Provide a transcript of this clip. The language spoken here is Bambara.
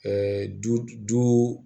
du duu